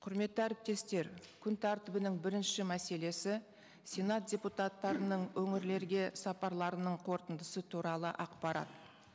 құрметті әріптестер күн тәртібінің бірінші мәселесі сенат депутаттарының өңірлерге сапарларының қорытындысы туралы ақпарат